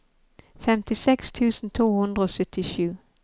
femtiseks tusen to hundre og syttisju